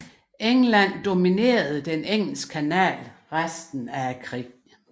England dominerede Den Engelske Kanal resten af krigen